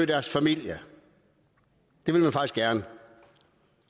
deres familie det vil man faktisk gerne